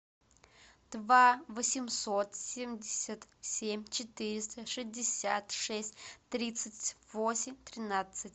два восемьсот семьдесят семь четыреста шестьдесят шесть тридцать восемь тринадцать